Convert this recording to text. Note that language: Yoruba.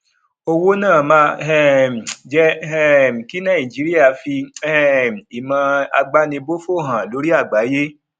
owó náà máa um jẹ um kí nàìjíríà fi um ìmọ àgbánibófò hàn lórí àgbáyé